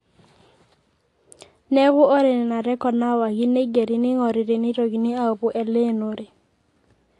Neeku ore Nena rrekod naawaki neigeri neing'ori teneitokini aapuo Eleenore.